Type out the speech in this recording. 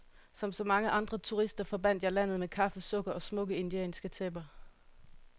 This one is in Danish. Som så mange andre turister forbandt jeg landet med kaffe, sukker og smukke indianske tæpper.